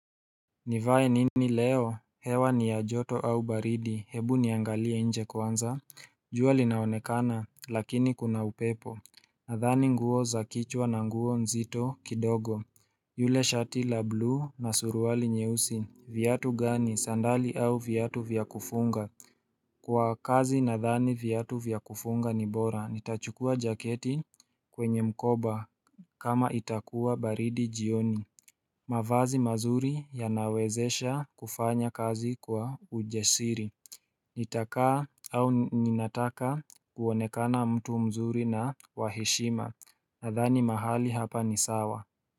Nivae nini leo, hewa ni ya joto au baridi, hebu niangalie nje kwanza jua linaonekana, lakini kuna upepo Nadhani nguo za kichwa na nguo nzito kidogo yule shati la buluu na suruali nyeusi viatu gani, sandali au viatu vya kufunga Kwa kazi nadhani viatu vya kufunga ni bora, nitachukua jaketi kwenye mkoba kama itakuwa baridi jioni mavazi mazuri yanawezesha kufanya kazi kwa ujasiri Nitakaa au ninataka kuonekana mtu mzuri na wa heshima Nadhani mahali hapa ni sawa.